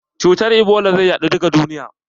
Cutar Ebola zai yaɗu duka duniya.